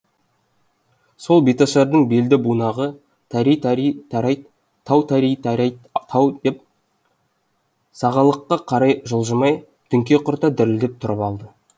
сол беташардың белді бунағы тари тари тарайт тау тари тарайт тау боп сағалыққа қарай жылжымай діңке құрта дірілдеп тұрып алды